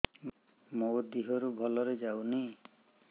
ମୋ ଦିହରୁ ଭଲରେ ଯାଉନି